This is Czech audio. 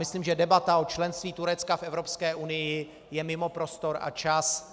Myslím, že debata o členství Turecka v Evropské unii je mimo prostor a čas.